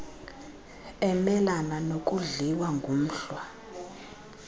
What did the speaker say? emelana nokudliwa ngumhlwa